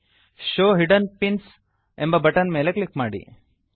show hidden pins show hidden pins ಎಂಬ button ಮೇಲೆ click ಮಾಡಿ